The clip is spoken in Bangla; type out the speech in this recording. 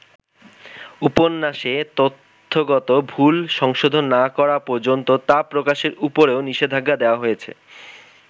উপন্যাসে তথ্যগত ভুল সংশোধন না করা পর্যন্ত তা প্রকাশের উপরও নিষেধাজ্ঞা দেয়া হয়েছে।